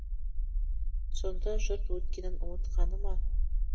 сонда жұрт өткенін ұмытқаны ма